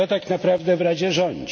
Kto tak naprawdę w Radzie rządzi?